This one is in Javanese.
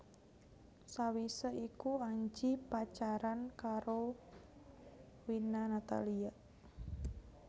Sawisé iku Anji pacaran karo Wina Natalia